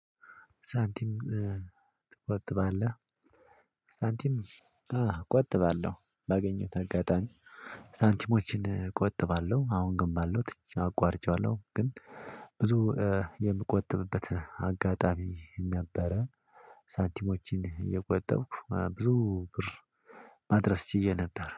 ሳንቲም ትቆጥባለህ? ሳንቲም እቆጥባለሁ ባገኘሁት አጋጣሚ ሳንቲሞችን እቆጥባለሁ አሁን ግን ባለው አቋርጨዋለሁ ግን ብዙ የምቆጥብበት አጋጣሚ ነበረ ሳንቲሞችን እየቆጠብኩ ብዙ ብር ማድረስ ችየ ነበር